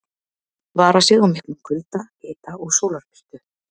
Vara sig á miklum kulda, hita og sólarbirtu.